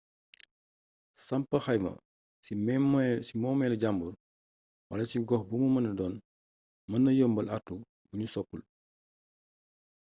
samp xayma ci moomelu jaamur wala ci gox bumu mëna don mën na yombal artu buñu sopul